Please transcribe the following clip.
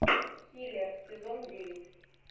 хилер сезон девять